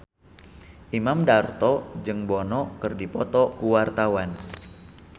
Imam Darto jeung Bono keur dipoto ku wartawan